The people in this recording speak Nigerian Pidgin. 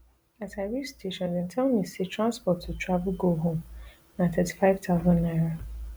as i reach station dem tell me say transport to travel go home na thirty-five thousand naira